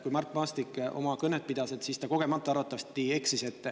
Kui Mart Maastik oma kõnet pidas, siis ta arvatavasti kogemata eksis.